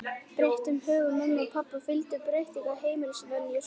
Breyttum högum mömmu og pabba fylgdu breyttar heimilisvenjur.